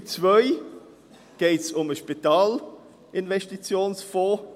In Ziffer 2 geht es um den Spitalinvestitionsfonds.